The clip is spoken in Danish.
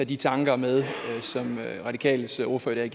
de tanker med som radikales ordfører i